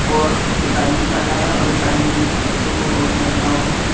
और एक आदमी खड़ा है और एक आदमी ने एक बच्चे को गोद में रखा हुआ है।